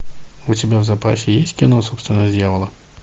у тебя в запасе есть кино собственность дьявола